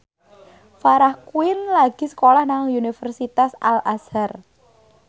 Farah Quinn lagi sekolah nang Universitas Al Azhar